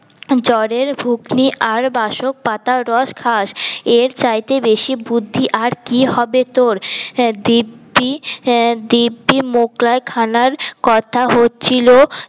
জ্বরের ভুগনি আর বাসক পাতার রস খাস এর চাইতে বেশি বুদ্ধি আর কি হবে তোর দিব্যি দিব্যি মোগলাই খানার কথা হচ্ছিল